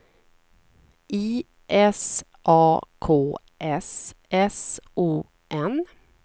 I S A K S S O N